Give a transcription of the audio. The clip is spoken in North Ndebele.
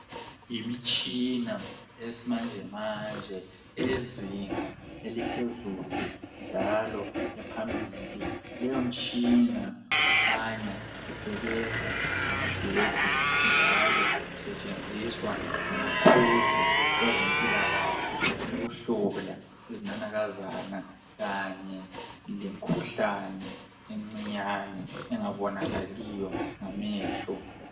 Yimitshina eyesimanje manje eyezinga eliphezulu njalo ephambili, leyo mtshina kukhanya isebenza ngamagetsi njalo isetshenziswa ngomaqhuzu bezempilakahle ukuhlola izinanakazana kanye lemkhuhlane emncinyane engabonakaliyo ngamehlo.